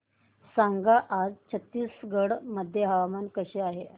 सांगा आज छत्तीसगड मध्ये हवामान कसे आहे